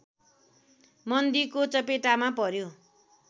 मन्दीको चपेटामा पर्‍यो